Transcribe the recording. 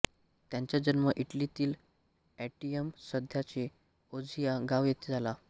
त्याचा जन्म इटलीतील एंटियम सध्याचे एंझियो गाव येथे झाला